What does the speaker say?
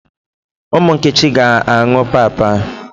Ụmụ Nkechi ga-aṅụ pap a?